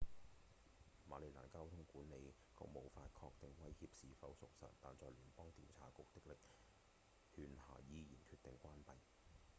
馬里蘭交通管理局無法確定威脅是否屬實但在聯邦調查局的力勸下依然決定關閉